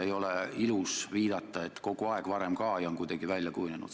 Ei ole ilus viidata, et kogu aeg varem ka ja et see on kuidagi nii välja kujunenud.